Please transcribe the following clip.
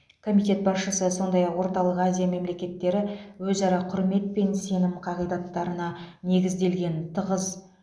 комитет басшысы сондай ақ орталық азия мемлекеттері өзара құрмет пен сенім қағидаттарына негізделген тығыз